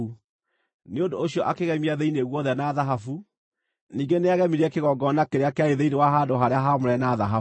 Nĩ ũndũ ũcio akĩgemia thĩinĩ guothe na thahabu. Ningĩ nĩagemirie kĩgongona kĩrĩa kĩarĩ thĩinĩ wa handũ-harĩa-haamũre na thahabu.